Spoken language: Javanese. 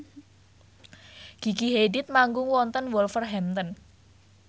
Gigi Hadid manggung wonten Wolverhampton